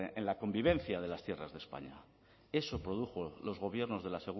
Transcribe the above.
en la convivencia de las tierras de españa eso produjo los gobiernos de la